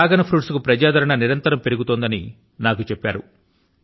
dragon fruits కు ప్రజాదరణ నిరంతరం పెరుగుతోందని నాకు చెప్పారు